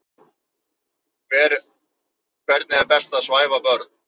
Hvernig er best að svæfa börn?